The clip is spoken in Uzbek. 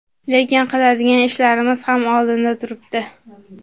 lekin qiladigan ishlarimiz ham oldinda turibdi.